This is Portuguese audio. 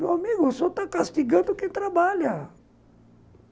Meu amigo, o senhor está castigando quem trabalha.